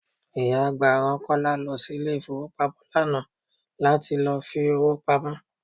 Ìyá àgbà rán Kọ́lá lọ sí ilé ifowopamo lánàá láti lọ fi owó pamó.